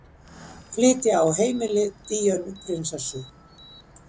Flytja á heimili Díönu prinsessu